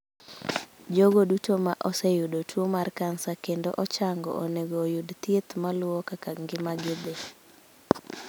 Jogo duto ma oseyudo tuwo mar kansa kendo ochango onego oyud thieth ma luwo kaka ngima gi thi.